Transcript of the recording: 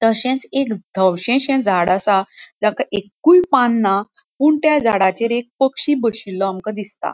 तशच एक दवशेशे झाड असा ताका एककुय पान ना पुन त्या झाडाचेर एक पक्षी बशिल्लो आमका दिसता.